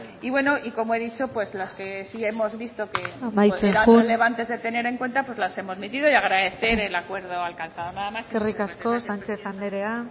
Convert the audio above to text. y bueno como he dicho las que sí hemos visto que eran amaitzen joan relevantes de tener en cuenta las hemos metido y agradecer el acuerdo alcanzado nada más eskerrik asko sánchez anderea